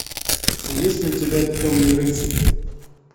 есть ли у тебя темный рыцарь